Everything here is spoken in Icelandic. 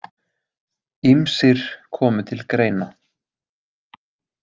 Ýmsir komu til greina.